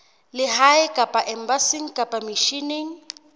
lehae kapa embasing kapa misheneng